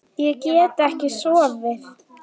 Ég get ekki sofið.